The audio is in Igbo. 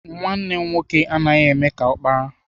Nwanne m nwoke anaghị eme ka ọkpara.